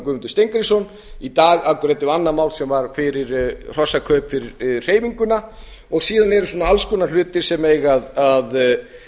guðmundur steingrímsson í dag afgreiddum við annað mál sem var hrossakaup fyrir hreyfinguna og síðan eru alls konar hlutir sem eiga að